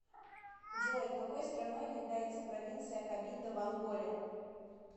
джой какой страной является провинция кабинда в анголе